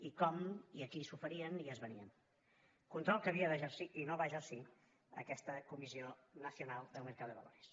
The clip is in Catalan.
i com i a qui s’oferien i es venien control que havia d’exercir i no va exercir aquesta comisión nacional del mercado de valores